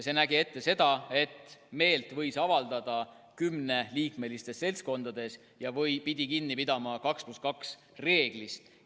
See nägi ette seda, et meelt võis avaldada kuni kümneliikmelistes seltskondades ja pidi kinni pidama 2 + 2 reeglist.